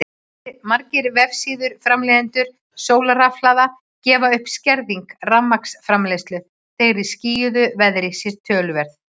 Margir vefsíður framleiðenda sólarrafhlaða gefa upp að skerðing rafmagnsframleiðslu þegar í skýjuðu veðri sé töluverð.